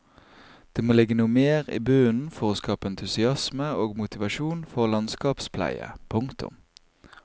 Det må ligge noe mer i bunnen for å skape entusiasme og motivasjon for landskapspleie. punktum